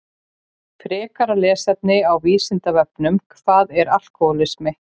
Frekara lesefni á Vísindavefnum Hvað er alkóhólismi?